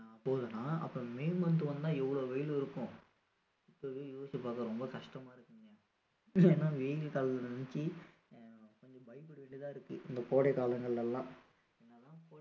போதுனா அப்போ may month வந்தா எவ்வளோ வெயில் இருக்கும் இப்போவே யோசிச்சு பார்க்க ரொம்ப கஷ்டமா இருக்குங்க ஏன்னா வெயில் காலத்த நினைச்சி கொஞ்சம் பயப்பட வேண்டியதா இருக்கு இந்த கோடை காலங்கள்லலாம் முன்னலாம்